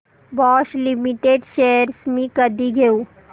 Bosch limited shares मी कधी घेऊ